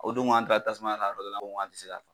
O dongo an taara tasumaya la yɔrɔ dɔ la ne ko n ko an ti se ka .